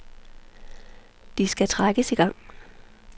De skal trækkes i gang.